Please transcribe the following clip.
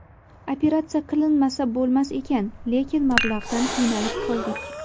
Operatsiya qilinmasa bo‘lmas ekan, lekin mablag‘dan qiynalib qoldik.